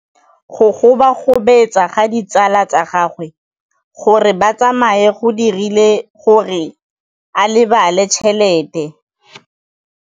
Go gobagobetsa ga ditsala tsa gagwe, gore ba tsamaye go dirile gore a lebale tšhelete.